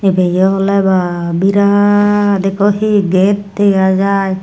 ebeyo oley ba birat ekko he gate dega jaai.